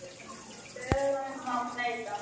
Lögum má breyta.